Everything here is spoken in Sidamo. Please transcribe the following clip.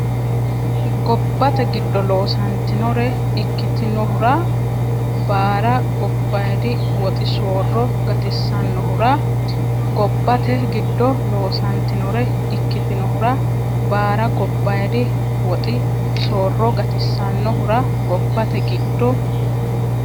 Gobbate giddo loosantinore ikkitinohura baara gobbaayidi woxi soorro gatissannohura Gobbate giddo loosantinore ikkitinohura baara gobbaayidi woxi soorro gatissannohura Gobbate giddo.